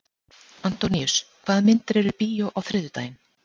Antóníus, hvaða myndir eru í bíó á þriðjudaginn?